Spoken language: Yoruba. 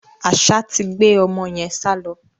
Àṣá ti gbé ọmọ yẹn sálọ.